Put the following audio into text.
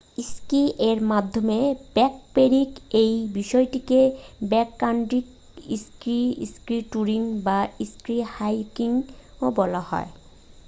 ski এর মাধ্যমে backpacking এই বিষয়টিকে ব্যাককান্ট্রি স্কি স্কি টুরিং বা স্কি হাইকিংও বলা হয়